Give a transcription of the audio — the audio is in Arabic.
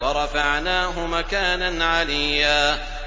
وَرَفَعْنَاهُ مَكَانًا عَلِيًّا